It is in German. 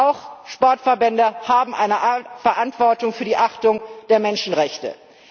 Auch Sportverbände haben eine Art Verantwortung für die Achtung der Menschenrechte.